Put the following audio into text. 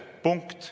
Punkt.